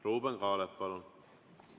Ruuben Kaalep, palun!